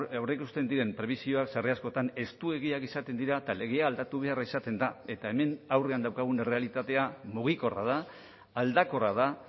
aurreikusten diren prebisioak sarri askotan estuegiak izaten dira eta legea aldatu beharra izaten da eta hemen aurrean daukagun errealitatea mugikorra da aldakorra da